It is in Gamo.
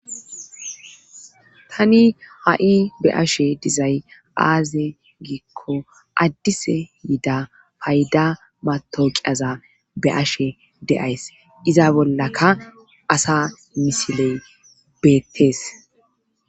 tani ha7i be ashe dizay aaze giikko addise yida fayda mato qiyaza be ashe de7ays iza bollaka asa misiley beettees